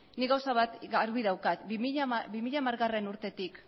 nik gauza bat garbi daukat bi mila hamargarrena urtetik